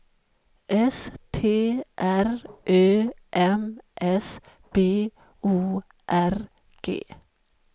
S T R Ö M S B O R G